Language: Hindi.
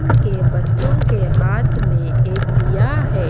उनके बच्चों के हाथ में एक दिया है।